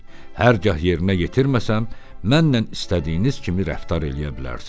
Hər gah yerinə yetirməsəm, mənnən istədiyiniz kimi rəftar eləyə bilərsiz.